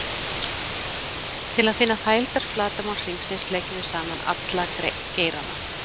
Til að finna heildarflatarmál hringsins leggjum við saman alla geirana.